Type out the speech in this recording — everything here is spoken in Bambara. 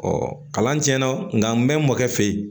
kalan tiɲɛna nka n bɛ n mɔkɛ fe yen